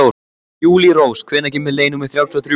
Júlírós, hvenær kemur leið númer þrjátíu og þrjú?